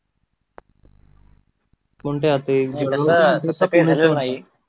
कोणत्या ते